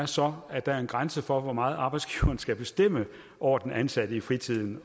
så er at der er en grænse for hvor meget arbejdsgiveren skal bestemme over den ansatte i fritiden